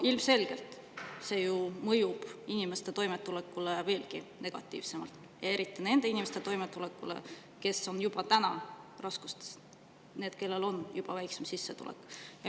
Ilmselgelt mõjub see ju inimeste toimetulekule veelgi negatiivsemalt, eriti nende inimeste toimetulekule, kes juba on raskustes ja kellel on väiksem sissetulek.